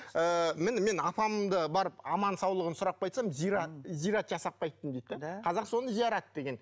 ыыы міне мен апамды барып аман саулығын сұрап қайтсам зират зират жасап қайттым дейді де қазақ соны зиярат деген